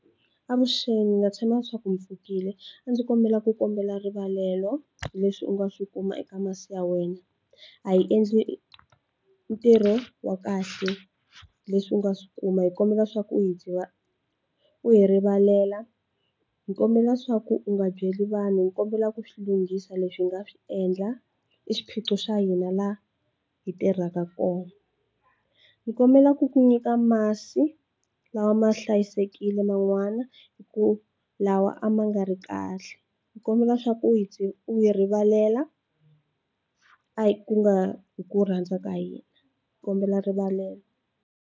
Avuxeni na tshama leswaku mi pfukile a ndzi kombela ku kombela rivalelo leswi u nga swi kuma eka masi ya wena a yi endli ntirho wa kahle leswi u nga swi kuma hi kombela swaku u hi u hi rivalela hi kombela swaku u nga byeli vanhu hi kombela ku swi lunghisa leswi hi nga swi endla i xiphiqo xa hina laha hi tirhaka kona hi kombela ku ku nyika masi lawa ma hlayisekile man'wana hi ku lawa a ma nga ri kahle hi kombela swa ku u hi rivalela a hi ku nga hi ku rhandza ka hina kombela rivalelo.